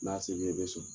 N'a se b'i ye bisɔ